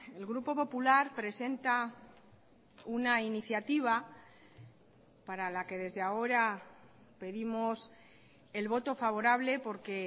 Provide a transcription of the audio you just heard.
el grupo popular presenta una iniciativa para la que desde ahora pedimos el voto favorable porque